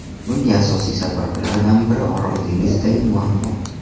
Bunga asosiy sabablardan biri Orol dengizidagi muammo.